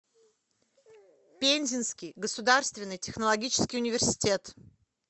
пензенский государственный технологический университет